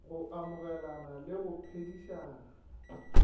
go amogelana le go phedišana